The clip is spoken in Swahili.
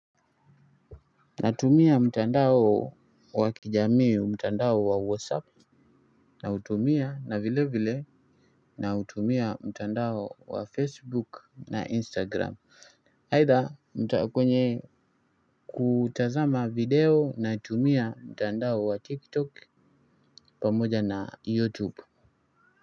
Natumia mtandao wa kijamii mtandao wa whatsapp nautumia na vile vile nautumia mtandao wa facebook na instagram aidha mtaa kwenye kutazama video natumia mtandao wa tiktok pamoja na youtube.